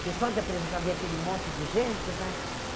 Que só de apresentar, vinha aquele monte de gente, né?